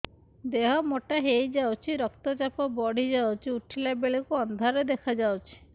ଦେହ ମୋଟା ହେଇଯାଉଛି ରକ୍ତ ଚାପ ବଢ଼ି ଯାଉଛି ଉଠିଲା ବେଳକୁ ଅନ୍ଧାର ଦେଖା ଯାଉଛି